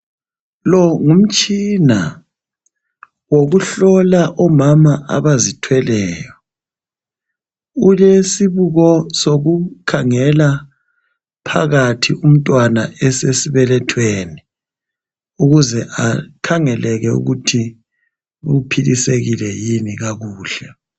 Lo, ngumtshina wokuhlola omama abazithweleyo. Ulesibuko sokukhangela phakathi umntwana esesibelethweni ukuze, akhangelele ukuthi uphilisekile yini kakuhle.